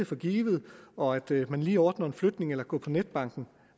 for givet og at det at man lige ordner en flytning eller går på netbank